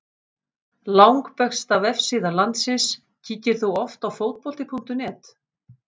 Langbesta vefsíða landsins Kíkir þú oft á Fótbolti.net?